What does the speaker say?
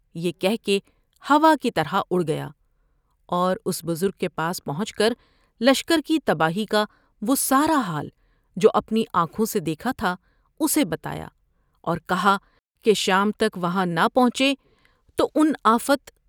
یہ کہہ کے ہوا کی طرح اڑ گیا اور اس بزرگ کے پاس پہنچ لشکر کی تباہی کا وہ سارا حال جو اپنی آنکھوں سے دیکھا تھا اسے بتایا اور کہا کہ شام تک وہاں نہ پہنچے تو ان آفت